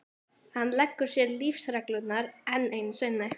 Hann leggur sér lífsreglurnar enn einu sinni.